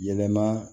Yɛlɛma